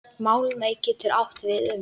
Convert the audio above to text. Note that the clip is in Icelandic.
Málmey getur átt við um